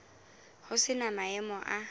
ho se na maemo a